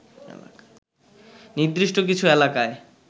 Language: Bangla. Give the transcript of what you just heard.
নির্দিষ্ট কিছু এলাকায়